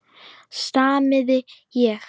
stamaði ég.